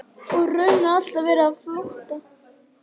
Koma krókskeljarinnar og ferðafélaga hennar markar því tvenn tímamót.